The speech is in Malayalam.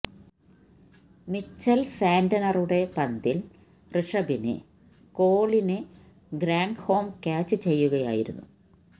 മിച്ചല് സാന്റ്നറുടെ പന്തില് ഋഷഭിന് കോളിന് ഗ്രാന്ദ്ഹോം ക്യാച്ച് ചെയ്യുകയായിരുന്നു